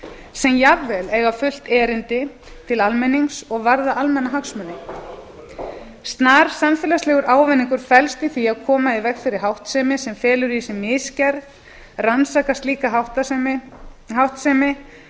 sem jafnvel eiga fullt erindi til almennings og varða almannahagsmuni snar samfélagslegur ávinningur felst í því að koma í veg fyrir háttsemi sem felur í sér misgerð rannsaka slíka háttsemi